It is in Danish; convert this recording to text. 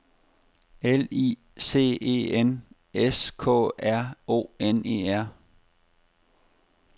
L I C E N S K R O N E R